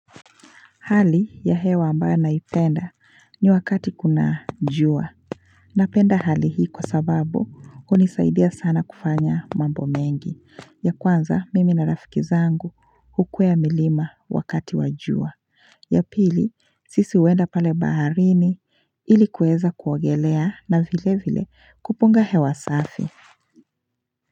Hali ya hewa amba naipenda ni wakati kuna jua. Napenda hali hii kwa sababu unisaidia sana kufanya mambo mengi. Ya kwanza mimi na rafikizangu hukwea milima wakati wa jua. Ya pili sisi huenda pale baharini ili kuweza kuogelea na vile vile kupunga hewa safi.